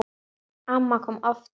Amma kom oft til okkar.